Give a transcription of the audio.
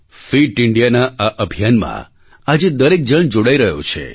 fit Indiaના આ અભિયાનમાં આજે દરેક જણ જોડાઈ રહ્યો છે